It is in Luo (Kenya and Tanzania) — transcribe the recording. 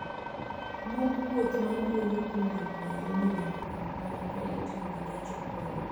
Buk wuoth ma duogo kowuok Nairobi nyaka kampala ka itiyo gi gach okolo